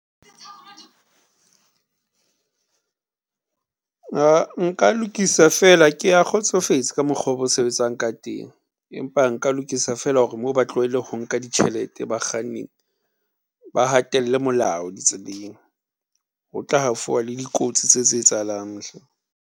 Nka lokisa feela, ke kgotsofetse ka mokgo ba sebetsang ka teng, empa nka lokisa fela hore mo ba tlohelle ho nka ditjhelete bakganning ba hatelle molao di tseleng. Ho tla ha fowa le dikotsi tse tse etsahalang.